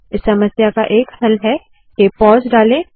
इस समस्या का एक हल है के pauseपॉज़ डाले